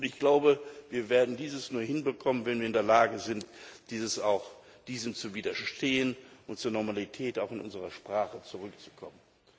Und ich glaube, wir werden dies nur hinbekommen, wenn wir in der Lage sind, diesem zu widerstehen und zur Normalität auch in unserer Sprache zurückzukommen.